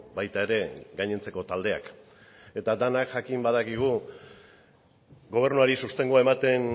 baita ere gainontzeko taldeak eta denak jakin badakigu gobernuari sostengua ematen